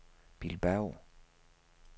Bilbao